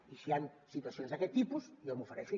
i si hi han situacions d’aquest tipus jo m’ofereixo